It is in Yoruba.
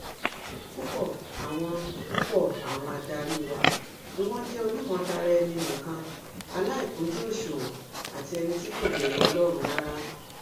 púpọ àwọn púpọ àwọn adarí wa ni wọn jẹ onímọtaraénì nìkan aláìkùnjú òṣùwọn àti ẹni tí kò bẹrù ọlọrun rárá